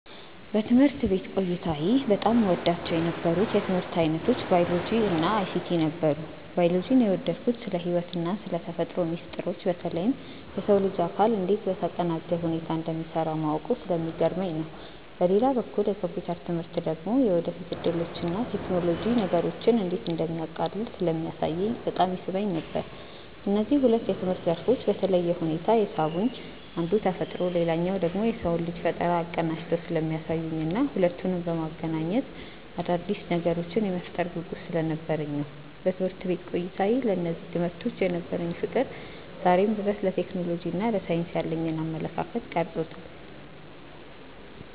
በትምህርት ቤት ቆይታዬ በጣም እወዳቸው የነበሩት የትምህርት ዓይነቶች ባዮሎጂ እና አይሲቲ ነበሩ። ባዮሎጂን የወደድኩት ስለ ሕይወትና ስለ ተፈጥሮ ሚስጥሮች በተለይም የሰው ልጅ አካል እንዴት በተቀናጀ ሁኔታ እንደሚሠራ ማወቁ ስለሚገርመኝ ነው። በሌላ በኩል የኮምፒውተር ትምህርት ደግሞ የወደፊት ዕድሎችንና ቴክኖሎጂ ነገሮችን እንዴት እንደሚያቃልል ስለሚያሳየኝ በጣም ይስበኝ ነበር። እነዚህ ሁለት የትምህርት ዘርፎች በተለየ ሁኔታ የሳቡኝ አንዱ ተፈጥሮን ሌላኛው ደግሞ የሰውን ልጅ ፈጠራ አቀናጅተው ስለሚያሳዩኝና ሁለቱንም በማገናኘት አዳዲስ ነገሮችን የመፍጠር ጉጉት ስለነበረኝ ነው። በትምህርት ቤት ቆይታዬ ለእነዚህ ትምህርቶች የነበረኝ ፍቅር ዛሬም ድረስ ለቴክኖሎጂና ለሳይንስ ያለኝን አመለካከት ቀርጾታል።